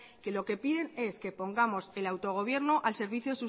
que lo que piden es que pongamos el autogobierno al servicio